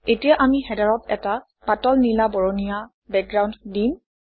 এতিয়া আমি হেডাৰত এটা পাতল নীলা বৰণীয়া বেকগ্ৰাউণ্ড দিম